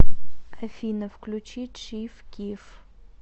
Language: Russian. афина включи чиф киф